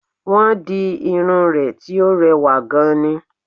Wọ́n di irun rẹ̀ tí ó rewà gan ni